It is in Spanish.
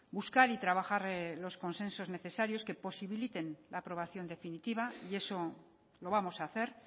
buscar y trabajar los consensos necesarios que posibiliten la aprobación definitiva y eso lo vamos a hacer